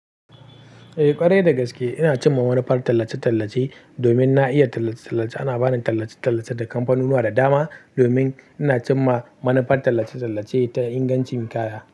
Eh ƙwarai dagaske ina cimma manufar tallace-tallace domin na iya tallace-tallace. Ana bani tallace-tallace da kamfanunuwa da dama domin ina cimma manufar tallace-tallace ta ingancin kaya.